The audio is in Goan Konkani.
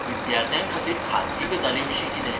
विद्यार्थ्यां खातीर खाजगी गजालीं विशीं कितें?